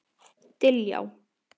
Diljá